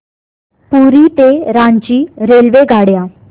पुरी ते रांची रेल्वेगाड्या